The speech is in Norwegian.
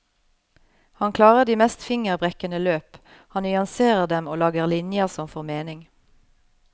Han klarer de mest fingerbrekkende løp, han nyanserer dem og lager linjer som får mening.